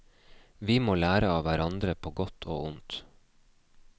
Vi må lære av hverandre på godt og ondt.